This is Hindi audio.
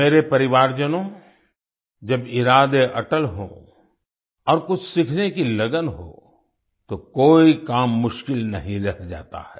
मेरे परिवारजनों जब इरादे अटल हों और कुछ सीखने की लगन हो तो कोई काम मुश्किल नहीं रह जाता है